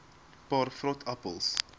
paar vrot appels